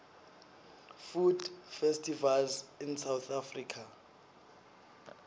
food festivals in south africa